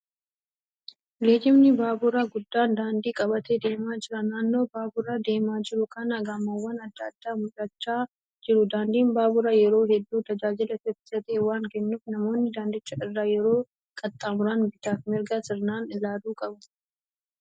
Geejjibni baaburaa guddaan daandii qabatee deemaa jira. Naannoo baadura deemaa jiru kanaa Gamoowwaan adda addaa mul'achaa jiru. Daandiin baaburaa yeroo hedduu tajaajila saffisaa ta'e waan kennuuf namoonni daandicha irra yeroo qaxxaamuran bitaf mirga sirnaan ilaaluu qabu.